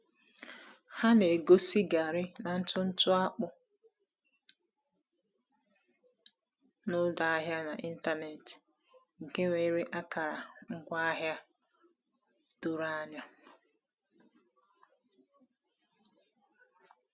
Ha na-egosi garri na ntụ ntụ akpụ n'ọdụ ahịa n’ịntanetị nke nwere akara ngwaahịa doro anya.